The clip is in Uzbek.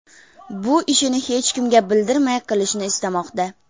Bu ishini hech kimga bildirmay qilishni istamoqda”.